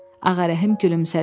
Ağarəhim gülümsədi.